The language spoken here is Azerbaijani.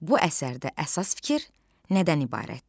Bu əsərdə əsas fikir nədən ibarətdir?